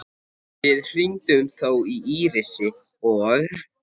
Við hringdum þó í Írisi og